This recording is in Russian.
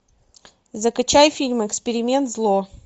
закачай фильм эксперимент зло